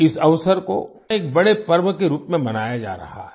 इस अवसर को एक बड़े पर्व के रूप में मनाया जा रहा है